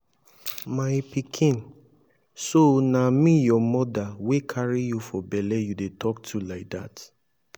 my pikin so na me your mother wey carry you for bele you dey talk to like dat